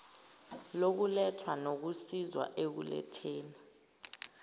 lokuletha nokusizwa ekuletheni